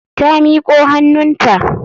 Ta miko hannunta.